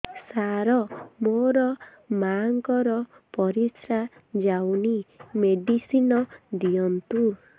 ସାର ମୋର ମାଆଙ୍କର ପରିସ୍ରା ଯାଉନି ମେଡିସିନ ଦିଅନ୍ତୁ